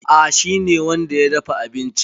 A'a, shi ne wanda ya dafa abincin.